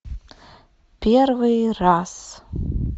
первый раз